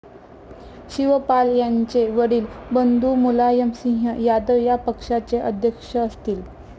शिवपाल यांचे वडील बंधू मुलायम सिंह यादव या पक्षाचे अध्यक्ष असतील.